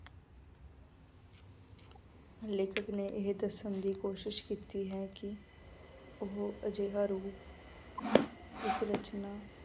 ਲੇਖਕ ਨੇ ਇਹ ਦੱਸਣ ਦੀ ਕੋਸ਼ਿਸ਼ ਕੀਤੀ ਹੈ ਕਿ ਉਹ ਅਜਿਹਾ ਰੂਪ ਇੱਕ ਰਚਨਾ